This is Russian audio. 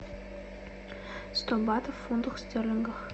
сто батов в фунтах стерлингов